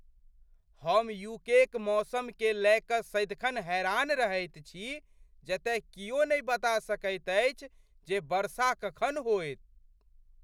हम यूकेक मौसमकेँ लय कऽ सदिखन हैरान रहैत छी जतय कियो नहि बता सकैत अछि जे वर्षा कखन होएत।